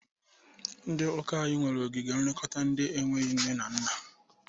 Ndị ụka anyị nwere ogige nlekọta ndị na-enweghi nne na nna.